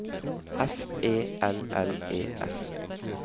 F E L L E S